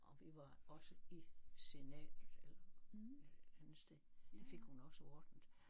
Og vi var også i Senatet eller et eller andet sted det fik hun også ordnet